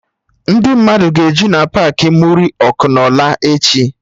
Ndị mmadụ ga-eju na Paakị Muri Ọkụnola echi